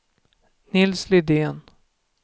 Nils Lidén